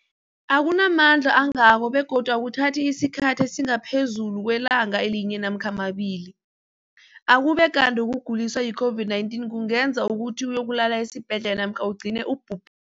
akuna mandla angako begodu akuthathi isikhathi esingaphezulu kwelanga linye namkha mabili, ukube kanti ukuguliswa yi-COVID-19 kungenza ukuthi uyokulala esibhedlela namkha ugcine ubhu